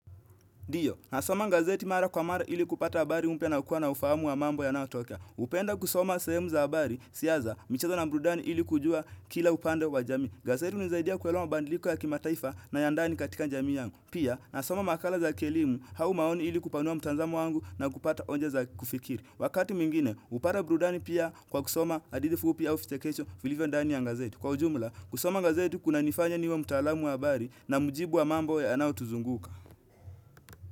Ndiyo, nasoma gazeti mara kwa mara ili kupata habari mpya na kuwa na ufahamu wa mambo yanayotokea huenda kusoma sehemu za habari, siasa, michezo na burudani ili kujua kila upande wa jamii. Gazeti hunisaidia kuelewa badiliko ya kimataifa na ya ndani katika jamii yangu. Pia, nasoma makala za kielimu, au maoni ili kupanua mtazamo wangu na kupata hoja za kufikiri. Wakati mwingine, hupata burudani pia kwa kusoma hadithi fupi au vichekesho, vilivyo ndani ya gazeti. Kwa ujumla, kusoma gazeti kunanifanya niwe mtalamu wa habari na mujibu wa mambo yanayotuzunguka.